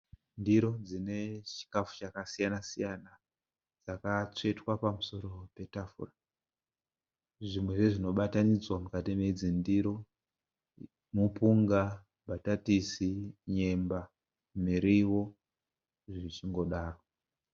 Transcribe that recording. Ndiro dzine chikafu chakasiyana siyana dzakatsvetwa pamusoro petafura. Zvimwe zvezvinobatanidzirwa mukati medzindiro, mupunga, mbatatisi, nyemba, miriwo zvichingodaro.